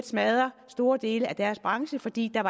smadre store dele af deres branche fordi der